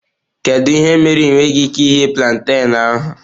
Kedu ihe mere ị nweghị ike ighe plantain ahụ?